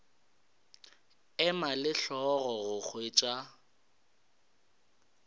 ema le hlogo go hwetša